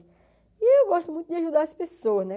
E eu gosto muito de ajudar as pessoas, né?